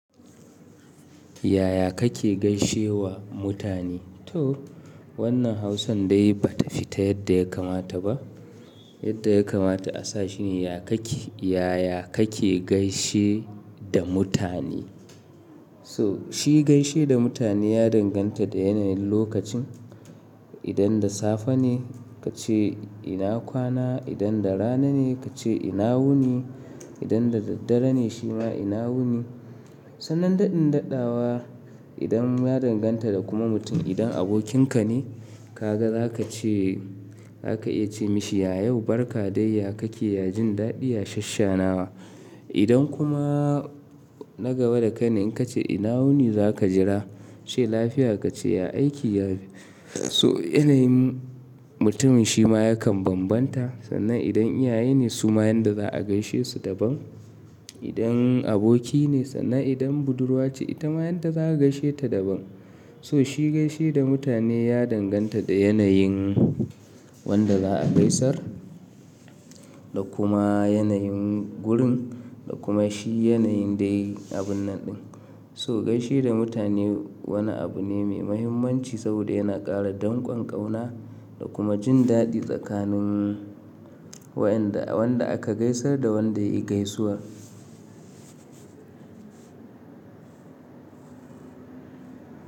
Yaya kake gaishe wa mutane? To, wannan Hausan dai ba ta fita yadda ya kamata ba. Yadda ya kamata a sa shi ne yaya kake, yaya kake gaishe da mutane. So shi gaishe da mutane ya danganta da yanayin lokacin. Idan da safe ne, kace ina kwana, idan da rana ne, kace ina wuni, idan da daddare ne shi ma ina wuni. Sannan daɗin daɗawa idan ya danganta da kuma mutum idan abokinka ne kaga za ka ce, za ka iya ce mashi ya yau barka dai ya kake ya jin daɗi ya shasshenawa. Idan kuma na gaba da kai ne, in ka ce ina wuni za ka jira yace lafiya ka ce ya aiki. So yanayin mutumin shi ma yakan bambanta. Sannan idan iyaye ne su ma yan da za a gaishe su daban. Idan aboki ne, sannan idan budurwa ce ita ma yanda za ka gaishe ta daban. So shi gaishe da mutane ya danganta da yanayin wanda za'a gaisar, da kuma yanayin gurin, da kuma shi yanayin dai abun naɗin. So gaishe da mutane wani abu ne mai muhimmanci saboda yana ƙara danƙon ƙauna da kuma jin daɗi tsakanin waɗanda, wanda aka gaisar da wanda ya yi gaisuwa.